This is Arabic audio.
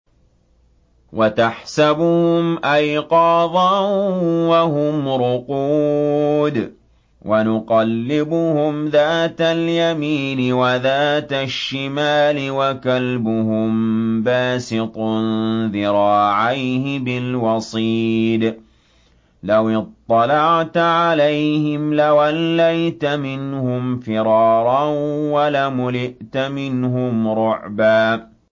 وَتَحْسَبُهُمْ أَيْقَاظًا وَهُمْ رُقُودٌ ۚ وَنُقَلِّبُهُمْ ذَاتَ الْيَمِينِ وَذَاتَ الشِّمَالِ ۖ وَكَلْبُهُم بَاسِطٌ ذِرَاعَيْهِ بِالْوَصِيدِ ۚ لَوِ اطَّلَعْتَ عَلَيْهِمْ لَوَلَّيْتَ مِنْهُمْ فِرَارًا وَلَمُلِئْتَ مِنْهُمْ رُعْبًا